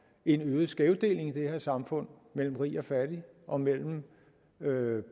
en øget skævdeling i det her samfund mellem rig og fattig og mellem